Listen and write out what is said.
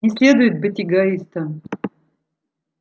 не следует быть эгоистом